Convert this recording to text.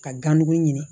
Ka ganmugu ɲini